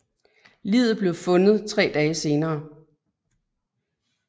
Liget blev fundet 3 dage senere